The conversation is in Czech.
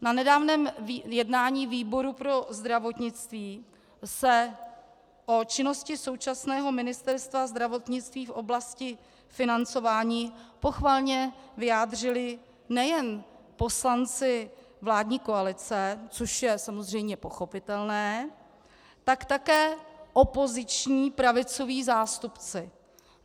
Na nedávném jednání výboru pro zdravotnictví se o činnosti současného Ministerstva zdravotnictví v oblasti financování pochvalně vyjádřili nejen poslanci vládní koalice, což je samozřejmě pochopitelné, tak také opoziční pravicoví zástupci.